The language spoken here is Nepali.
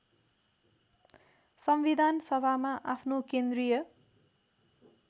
संविधानसभामा आफ्नो केन्द्रीय